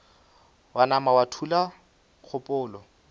wa nama wa thula kgopolo